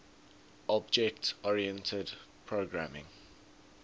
object oriented programming